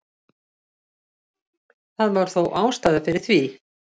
Það var þó ástæða fyrir því.